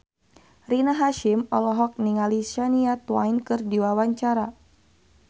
Rina Hasyim olohok ningali Shania Twain keur diwawancara